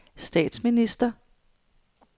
statsminister